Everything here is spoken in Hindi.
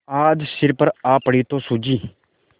आज सिर पर आ पड़ी तो सूझी